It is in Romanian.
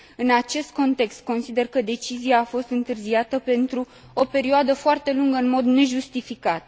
În acest context, consider că decizia a fost întârziată pentru o perioadă foarte lungă în mod nejustificat.